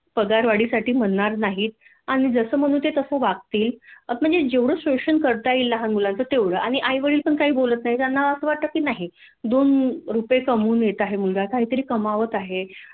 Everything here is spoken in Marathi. पगारवाढीसाठी म्हणार नाहीत जसं म्हणू तस ते वागतील म्हणजे जेवढ शोषण करता येईल लहान मुलाच तेवढं आणि आई वडील पण काही बोलत नाही त्यांना अस वाटतं की नाही दोन रूपये कमवून देत आहे मुलगा काहीतरी कमावत आहे